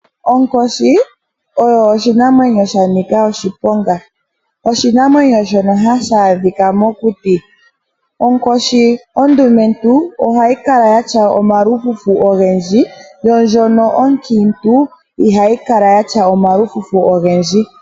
Onkoshi oyo oshinamwenyo sha nika oshiponga. Oshinamwenyo shono hashi adhika mokuti. Onkoshi ondumentu, ohayi kala yatya omalufufu ogendji yono ndjono onkiintu ihayi kala yatya omalufufu ogendji.